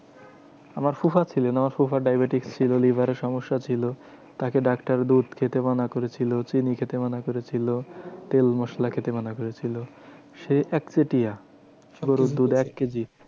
আমার ফুফা ছিলেন, আমার ফুফার diabetes ছিল, লিভারের সমস্যা ছিল। তাকে ডাক্তার দুধ খেতে মানা করেছিল। চিনি খেতে মানা করেছিল। তেল মসলা খেতে মানা করেছিল। সে একচেটিয়া গরুর দুধ এক কেজি